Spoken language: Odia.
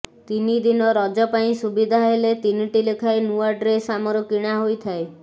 ତିନି ଦିନ ରଜ ପାଇଁ ସୁବିଧା ହେଲେ ତିନିଟି ଲେଖାଏଁ ନୂଆ ଡ୍ରେସ୍ ଆମର କିଣା ହୋଇଥାଏ